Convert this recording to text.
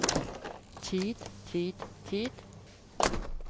tid tid tid